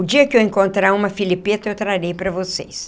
O dia que eu encontrar uma filipeta, eu trarei para vocês.